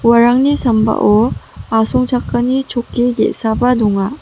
uarangni sambao asongchakani chokki ge·saba donga.